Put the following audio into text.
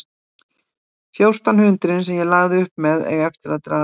Fjórtán hundruðin sem ég lagði upp með eiga eftir að dragast frá.